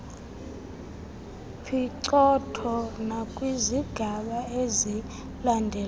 phicotho nakwizigaba ezilandelayo